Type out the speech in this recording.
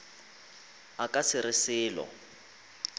a ka se re selo